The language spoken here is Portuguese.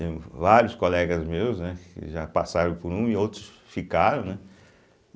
Vários colegas meus, né, que já passaram por um e outros ficaram, né?